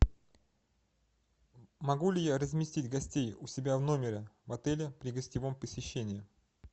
могу ли я разместить гостей у себя в номере в отеле при гостевом посещении